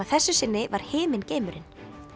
þessu sinni var himingeimurinn